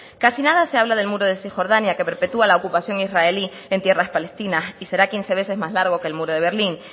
casi nada se habla del muro de cisjordania que perpetua la ocupación israelí en tierras palestinas y será quince veces más largo que el muro de berlín